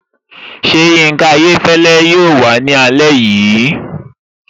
Ṣé Yinka Ayéfẹ́lẹ́ yóò wàá ní alẹ́ yìí?